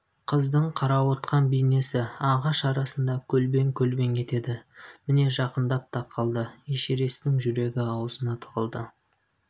қыздың қарауытқан бейнесі ағаш арасында көлбең-көлбең етеді міне жақындап та қалды эшересттің жүрегі аузына тығылды